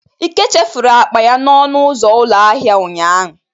Ike chefuru akpa ya n'ọnụ ụzọ ụlọ ahịa ụnyahụ.